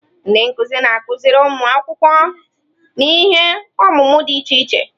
Ndị nkuzi na-akụziri ụmụ akwụkwọ n'ihe ọmụmụ dị iche iche.